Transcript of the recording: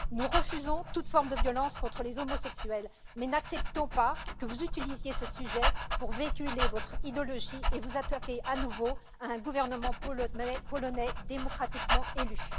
Nous refusons toute forme de violence contre les homosexuels, mais n'acceptons pas que vous utilisiez ce sujet pour véhiculer votre idéologie et vous attaquer à nouveau à un gouvernement polonais démocratiquement élu.